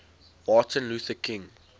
martin luther king